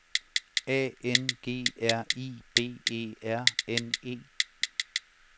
A N G R I B E R N E